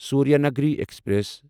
Suryanagari express